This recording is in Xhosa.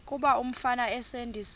kuba umfana esindise